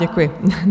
Děkuji.